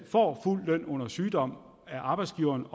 får fuld løn under sygdom af arbejdsgiveren